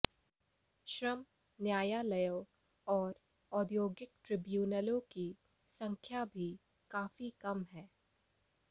श्रम न्यायालयों और औद्योगिक ट्रिब्यूनलों की संख्या भी काफ़ी कम है